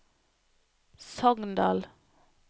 Sogndal